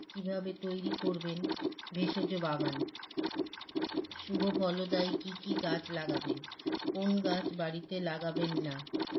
কীভাবে তৈরী করবেন ভেষজ বাগান শুভফলদায়ী কী কী গাছ লাগাবেন কোন গাছ বাড়িতে লাগাবেন না